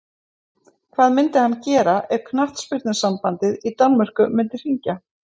Hvað myndi hann gera ef knattspyrnusambandið í Danmörku myndi hringja?